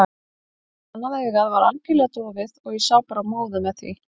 Annað augað var algjörlega dofið og ég sá bara móðu með því.